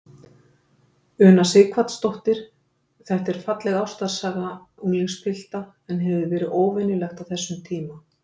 Una Sighvatsdóttir: Þetta er falleg ástarsaga unglingspilta, en hefur verið óvenjulegt á þessum tíma?